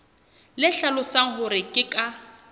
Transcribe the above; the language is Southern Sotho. le hlalosang hore ke ka